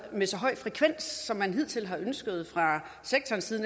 med så høj frekvens som man hidtil har ønsket fra sektorens side